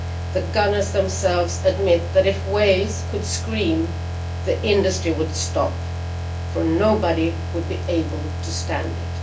The gunners themselves admit that if whales could scream the industry would stop, for nobody would be able to stand it.'